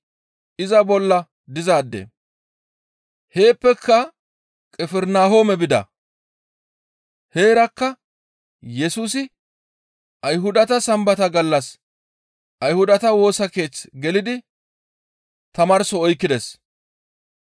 Heeppeka Qifirnahoome bida. Heerakka Yesusi Ayhudata Sambata gallas Ayhudata Woosa Keeth gelidi tamaarso oykkides.